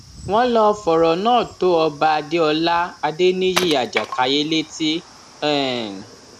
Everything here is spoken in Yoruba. wọn lọọ fọrọ náà tó ọba adéọlá adéníyí ajàkáyé létí um